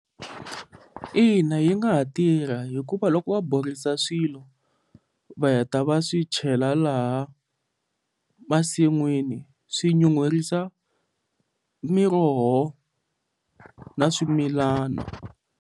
Ina, yi nga ha tirha hikuva loko va borisa swilo va heta va swi chela laha masin'wini swi nyuherisa miroho na swimilana.